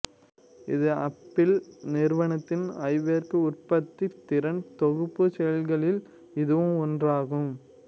இது அப்பிள் நிறுவனத்தின் ஐவேர்க் உற்பத்தித் திறன் தொகுப்புச் செயலிகளில் இதுவும் ஒன்றாகும்